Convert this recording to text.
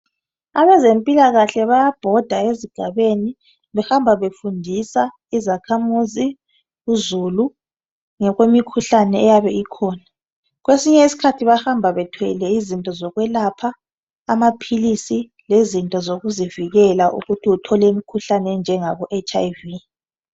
Abezempilakahle bayabhoda ezigabeni behamba befundisa izakhamizi lozulu ngemikhuhlane eyabe ikhona kwesinye isikhathi bahamba bethwele izinto zokwelapha, amaphilisi lezinto zokuzivikela ukuze bengatholi umkhuhlane weHIV.